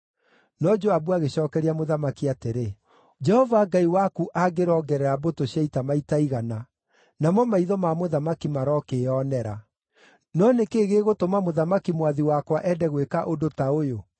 No Joabu agĩcookeria mũthamaki atĩrĩ, “Jehova Ngai waku angĩrongerera mbũtũ cia ita maita igana, namo maitho ma mũthamaki marokĩĩonera. No nĩ kĩĩ gĩgũtũma mũthamaki mwathi wakwa ende gwĩka ũndũ ta ũyũ?”